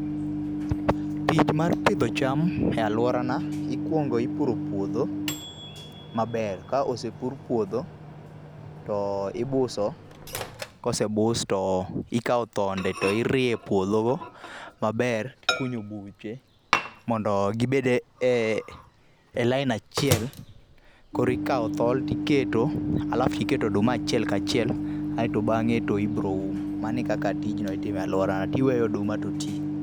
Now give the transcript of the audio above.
Tich mar pidho cham e aluorana, ikuongo ipuro puodho maber. Ka osepur puodho to ibuso, kosebus to ikawo thonde, tirieyo e puodhono maber, tikunyo buche mondo gibed e le aini achiel, koro ikawo thol tiketo alafu tiketo oduma achiel kachiel aeto bang'e to ibiroum. Mano e kaka tijno itimo e aluorawa. Tiweyo oduma to tii.